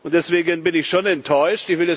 Deswegen bin ich schon enttäuscht.